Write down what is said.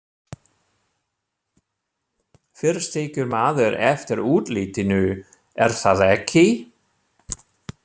Fyrst tekur maður eftir útlitinu, er það ekki?